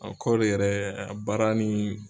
kɔɔri yɛrɛ baara ni